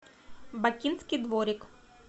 бакинский дворик